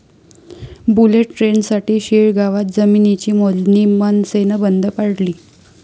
bullet ट्रेनसाठी शिळगावात जमिनीची मोजणी मनसेनं बंद पाडली